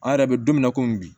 An yɛrɛ bɛ don min na komi bi